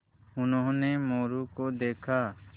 उन्होंने मोरू को देखा